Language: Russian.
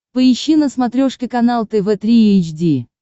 поищи на смотрешке канал тв три эйч ди